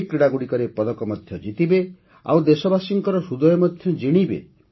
ଏହି କ୍ରୀଡ଼ାଗୁଡ଼ିକରେ ପଦକ ମଧ୍ୟ ଜିତିବେ ଆଉ ଦେଶବାସୀଙ୍କ ହୃଦୟ ମଧ୍ୟ ଜିଣିବେ